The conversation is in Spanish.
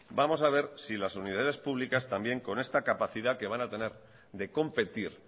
vamos a ver si las universidades públicas también con esta capacidad que van a tener de competir